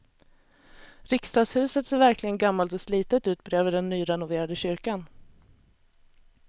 Riksdagshuset ser verkligen gammalt och slitet ut bredvid den nyrenoverade kyrkan.